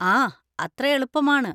ആ, അത്ര എളുപ്പമാണ്.